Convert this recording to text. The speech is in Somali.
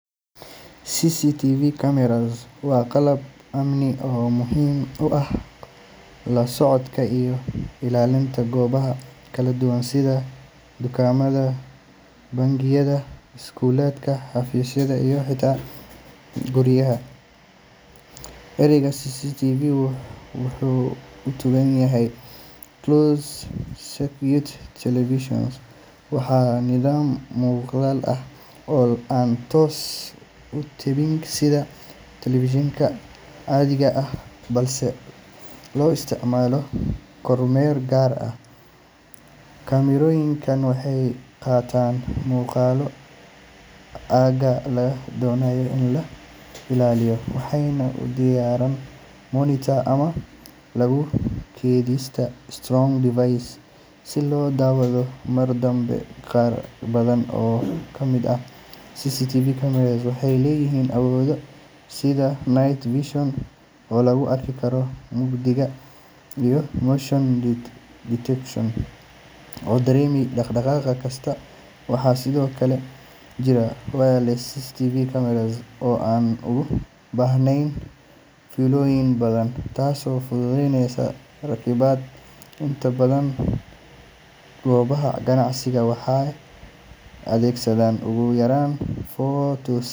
CCTV cameras waa qalab amni oo muhiim u ah la socodka iyo ilaalinta goobaha kala duwan sida dukaamada, bangiyada, iskuulada, xafiisyada, iyo xitaa guryaha. Erayga CCTV wuxuu u taagan yahay Closed-Circuit Television, waana nidaam muuqaal ah oo aan toos u tebin sida telefishinka caadiga ah balse loo isticmaalo kormeer gaar ah. Kaamirooyinkaan waxay qabtaan muuqaalka aagga la doonayo in la ilaaliyo waxayna u diraan monitor ama lagu keydiyaa storage device si loo daawado mar dambe. Qaar badan oo ka mid ah CCTV cameras waxay leeyihiin awoodo sida night vision oo lagu arki karo mugdiga, iyo motion detection oo dareema dhaqdhaqaaq kasta. Waxaa sidoo kale jira wireless CCTV cameras oo aan u baahnayn fiilooyin badan, taasoo fududeynaysa rakibidda. Inta badan goobaha ganacsiga waxay adeegsadaan ugu yaraan four to six.